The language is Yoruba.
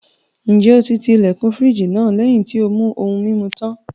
Ǹjẹ́ o ti ilẹ̀kùn fírìjì náà lẹ́yìn tí ó mú ohun-mimu tán?